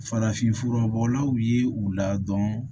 Farafinfura bɔlaw ye u la dɔn